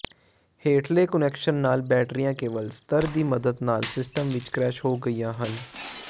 ਹੇਠਲੇ ਕੁਨੈਕਸ਼ਨ ਨਾਲ ਬੈਟਰੀਆਂ ਕੇਵਲ ਸਤਰ ਦੀ ਮਦਦ ਨਾਲ ਸਿਸਟਮ ਵਿੱਚ ਕ੍ਰੈਸ਼ ਹੋ ਗਈਆਂ ਹਨ